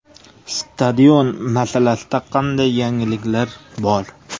Stadion masalasida qanday yangiliklar bor?